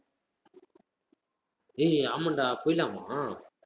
டேய் ஆமாண்டா போயிலாமா